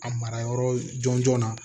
A mara yɔrɔ jɔn jɔn na